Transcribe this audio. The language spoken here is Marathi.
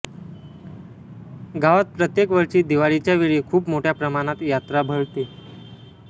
गावात प्रत्येक वर्षी दिवाळीच्यावेळी खूप मोठ्या प्रमाणात यात्रा भरते